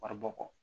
Wari bɔ kɔ